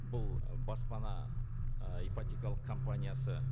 бұл ы баспана ы ипотекалық компаниясы